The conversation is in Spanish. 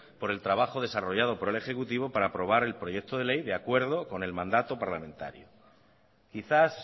por el trabajo desarrollado por el ejecutivo para aprobar el proyecto de ley de acuerdo con el mandato parlamentario quizás